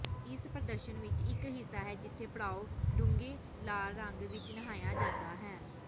ਇਸ ਪ੍ਰਦਰਸ਼ਨ ਵਿਚ ਇਕ ਹਿੱਸਾ ਹੈ ਜਿੱਥੇ ਪੜਾਅ ਡੂੰਘੇ ਲਾਲ ਰੰਗ ਵਿਚ ਨਹਾਇਆ ਜਾਂਦਾ ਹੈ